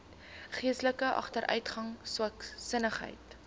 geestelike agteruitgang swaksinnigheid